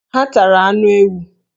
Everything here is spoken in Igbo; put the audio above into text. Ha tara anụ ewu.